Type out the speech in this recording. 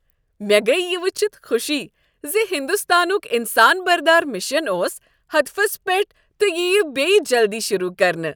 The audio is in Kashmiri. مےٚ گٔیۍ یہ ؤچھتھ خوشی ز ہنٛدستانک انسان بردار مشن اوس ہدفس پیٹھ تہٕ یہِ یییہ جلدی شروع کرنہٕ۔